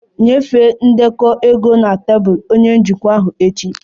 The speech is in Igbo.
Nyefee ndekọ ego na tebụl onye njikwa echi!